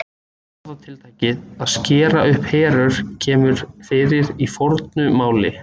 Orðatiltækið að skera upp herör kemur fyrir í fornu máli.